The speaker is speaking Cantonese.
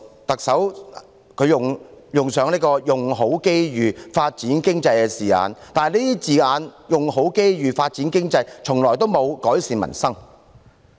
特首林鄭月娥用上"用好機遇"、"發展經濟"等字眼，但這些字眼從來沒有改善民生。